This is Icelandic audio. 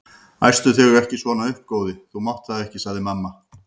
Æstu þig ekki svona upp góði, þú mátt það ekki sagði amma.